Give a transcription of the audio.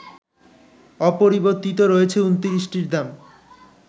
অপরিবর্তিত রয়েছে ২৯টির দাম